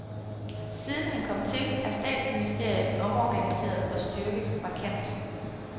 Siden han kom til, er statsministeriet omorganiseret og styrket markant.